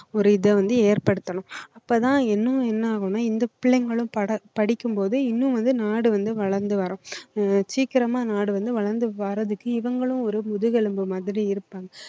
ஒரு இதை வந்து ஏற்படுத்தணும் அப்பதான் இன்னும் என்ன ஆகும்ன்னா இந்த பிள்ளைங்களும் பட~ படிக்கும்போது இன்னும் வந்து நாடு வந்து வளர்ந்து வரும் அஹ் சீக்கிரமா நாடு வந்து வளர்ந்து வர்றதுக்கு இவங்களும் ஒரு முதுகெலும்பு மாதிரி இருப்பாங்க